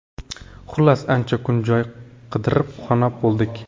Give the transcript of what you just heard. Xullas, ancha kun joy qidirib, xunob bo‘ldik.